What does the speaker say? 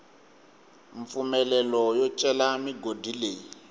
mpfumelelo yo cela migodi leyi